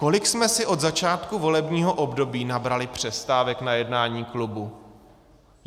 Kolik jsme si od začátku volebního období nabrali přestávek na jednání klubu?